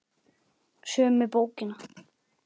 Sömu bókina?